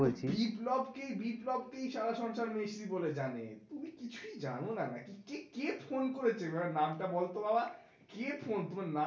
বিপ্লব কেই বিপ্লব কেই সারা সংসার মেসি বলে জানে, তুমি কিছুই যেন না নাকি? কে ফোন করেছে নাম টা বলতো বাবা কে ফোন, তোমার নাম